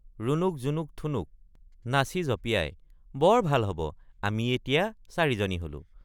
ৰুণুক জুনুক ঠুনুক— নাচি জঁপিয়াই বৰ ভাল হব আমি এতিয়া চাৰিজনী হলো।